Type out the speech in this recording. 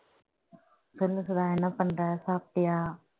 சொல்லு சுதா என்ன பண்ற சாப்பிட்டியா